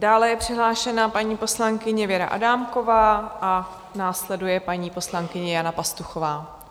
Dále je přihlášena paní poslankyně Věra Adámková a následuje paní poslankyně Jana Pastuchová.